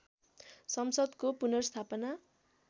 संसद्को पुनर्स्थापना